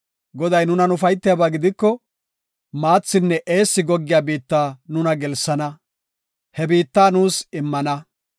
Goday nunan ufaytiyaba gidiko maathinne eessi goggiya biitta nuna gelsana; he biitta nuus immana.